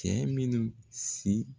Cɛ minnu si